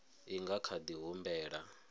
i nga kha di humbela